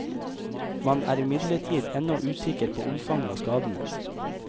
Man er imidlertid ennå usikker på omfanget av skadene.